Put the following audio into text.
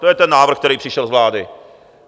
To je ten návrh, který přišel z vlády.